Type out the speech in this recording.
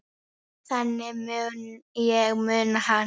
Þannig mun ég muna hana.